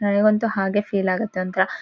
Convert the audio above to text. ನನಿಗಂತೂ ಹಾಗೆ ಫೀಲ್ ಆಗತ್ತೆ ಒಂದು ತರಹ.